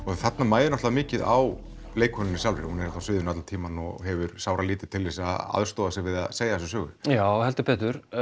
þarna mæðir náttúrulega mikið á leikkonunni sjálfri hún er á sviðinu allan tímann og hefur sáralítið til þess að aðstoða sig við að segja söguna já heldur betur